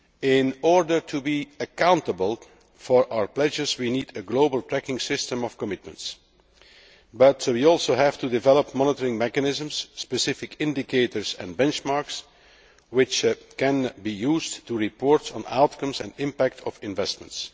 In order to be accountable for our pledges, we need a global pecking system of commitments, but we also have to develop monitoring mechanisms, specific indicators and benchmarks which can be used to report on the outcomes and impacts of investments.